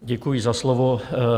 Děkuji za slovo.